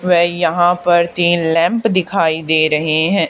वह यहां पर तीन लैम्प दिखाई दे रहे हैं।